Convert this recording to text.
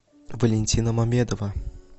валентина мамедова